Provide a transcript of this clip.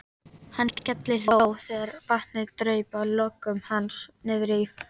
Hann skellihló þegar vatnið draup af lokkum hans niðrí fatið.